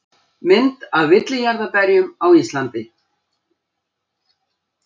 Mynd af villijarðarberjum á Indlandi.